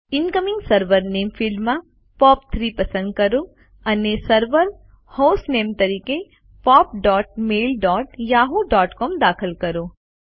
incoming server નામે ફિલ્ડમાં પોપ3 પસંદ કરો અને સર્વર હોસ્ટનેમ તરીકે pop dot mail dot Yahoo dot COM દાખલ કરો